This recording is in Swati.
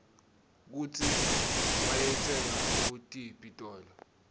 kutsi bayitsenga kutiphi titolo